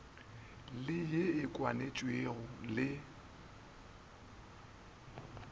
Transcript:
le ye e kwanetšwego le